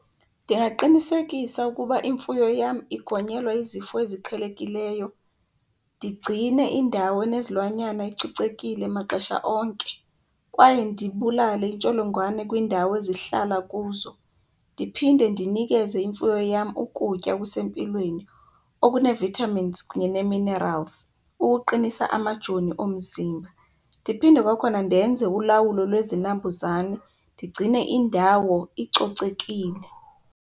Ndingaqinisekisa ukuba imfuyo yam igonyelwa izifo eziqhelekileyo, ndigcine indawo enezilwanyana icocekile maxesha onke kwaye ndibulale iintsholongwane kwindawo ezihlala kuzo. Ndiphinde ndinikeze imfuyo yam ukutya okusempilweni okune-vitamins kunye nee-minerals ukuqinisa amajoni omzimba. Ndiphinde kwakhona ndenze ulawulo lwezinambuzane ndigcine indawo icocekile.